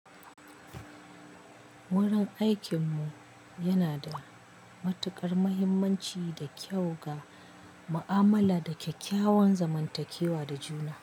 Wurin aikinmu yana da matuƙar mahimmanci da kyau ga ma'amala da kyakkyawan zamantakewa da juna.